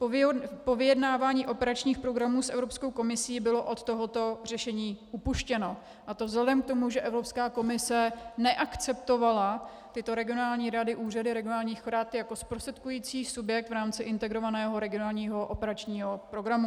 Po vyjednávání operačních programů s Evropskou komisí bylo od tohoto řešení upuštěno, a to vzhledem k tomu, že Evropská komise neakceptovala tyto regionální rady, úřady regionálních rad, jako zprostředkující subjekt v rámci Integrovaného regionálního operačního programu.